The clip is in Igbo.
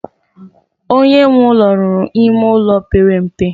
Onye nwe ụlọ ruru ime ụlọ pere mpe.